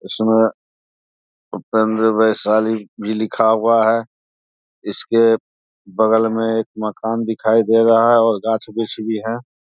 उसमे अंदर में वैशाली भी लिखा हुआ है। इसके बगल में एक मकान दिखाई दे रहा है और गाछ वृक्ष भी है।